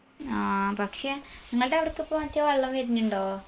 ആ പക്ഷെ ഇങ്ങൾടവിടൊക്കെ ഇപ്പൊ മറ്റേ വെള്ളം വെരിണിണ്ടോ